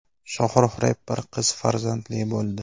Shohrux reper qiz farzandli bo‘ldi.